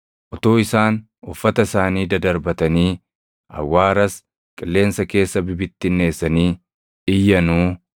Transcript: Utuu isaan uffata isaanii dadarbatanii, awwaaras qilleensa keessa bibittinneessanii iyyanuu,